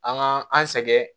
An ka an sɛgɛn